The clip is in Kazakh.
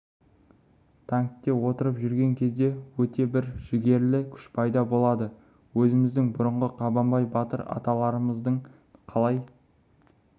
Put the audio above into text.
танкке отырып жүрген кезде өте бір жігерлі күш пайда болады өзіміздің бұрынғы қабанбай батыр аталарымыздың қалай